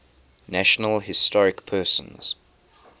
national historic persons